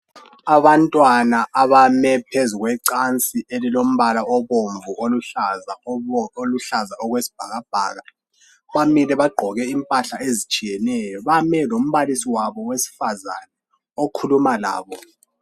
Abantwana abame phezu kwecansi elilombala obomvu loluhlaza okwesibhakabhaka bamile bagqoke impahla ezitshiyeneyo bame lombalisi wabo wesifazane ukhuluma labo.